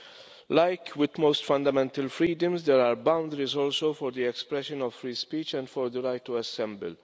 As with most fundamental freedoms, there are also boundaries for the expression of free speech and for the right to assemble.